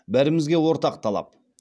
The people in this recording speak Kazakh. бәрімізге ортақ талап